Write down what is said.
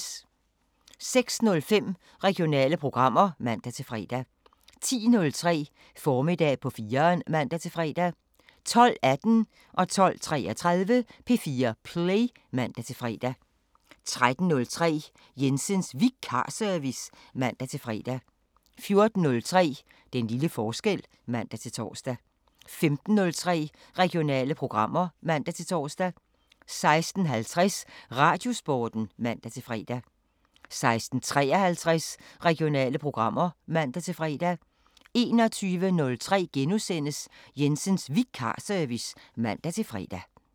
06:05: Regionale programmer (man-fre) 10:03: Formiddag på 4'eren (man-fre) 12:18: P4 Play (man-fre) 12:33: P4 Play (man-fre) 13:03: Jensens Vikarservice (man-fre) 14:03: Den lille forskel (man-tor) 15:03: Regionale programmer (man-tor) 16:50: Radiosporten (man-fre) 16:53: Regionale programmer (man-fre) 21:03: Jensens Vikarservice *(man-fre)